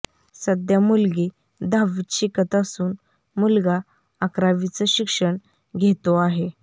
सध्या मुलगी दहावीत शिकत असून मुलगा अकरावीचं शिक्षण घेतो आहे